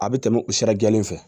A bɛ tɛmɛ o sira jɛlen fɛ